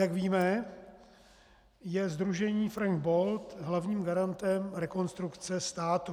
Jak víme, je sdružení Frank Bold hlavním garantem Rekonstrukce státu.